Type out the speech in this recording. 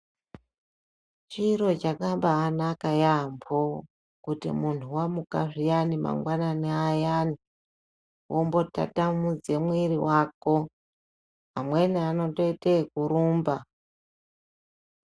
Chiro chakabanaka yaambo kuti muntu vamuka zviyani mangwanani ayani. Vombotatamudze muviri vako amweni anotoite ekurumba.